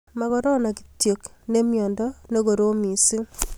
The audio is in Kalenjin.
ma korona kityo ne myando ne korom mising